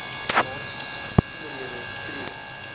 nadere besonderhede tree